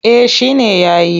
Eh shi ne ya yi.